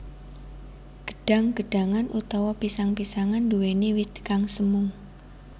Gedhang gedhangan utawa pisang pisangan nduwèni wit kang semu